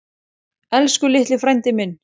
Elsku litli frændi minn.